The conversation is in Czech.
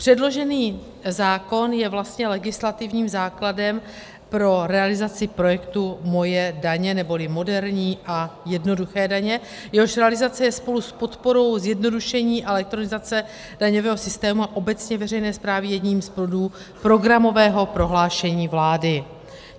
Předložený zákon je vlastně legislativním základem pro realizaci projektu MOJE daně neboli MOderní a JEdnoduché daně, jehož realizace je spolu s podporou zjednodušení a elektronizace daňového systému a obecně veřejné správy jedním z bodů programového prohlášení vlády.